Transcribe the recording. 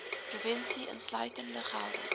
provinsie insluitende gelde